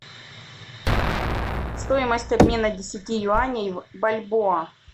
стоимость обмена десяти юаней в бальбоа